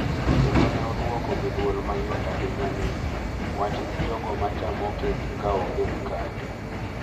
Kendo ne odwoko gi dwol mayot ahinya ni, “Wach ne jogo ma chamo kek ka onge mkate.”